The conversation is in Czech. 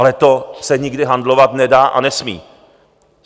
Ale to se nikdy handlovat nedá a nesmí.